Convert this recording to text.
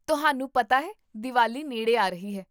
ਤੁਹਾਨੂੰ ਪਤਾ ਹੈ ਦੀਵਾਲੀ ਨੇੜੇ ਆ ਰਹੀ ਹੈ!